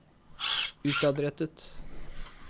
utadrettet